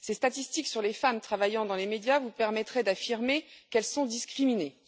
Ces statistiques sur les femmes travaillant dans les médias vous permettraient d'affirmer qu'elles sont discriminées.